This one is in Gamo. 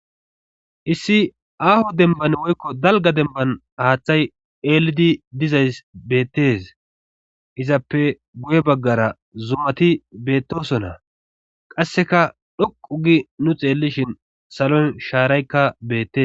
issi aaho demban woykko dalga demban haaththay eelidi dizays beettes izappe guye baggara zumati beettosonna qasseka dhoqu gi nu xeellishin saloy shaaraykka beette